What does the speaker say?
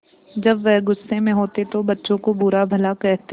जब वह गुस्से में होते तो बच्चों को बुरा भला कहते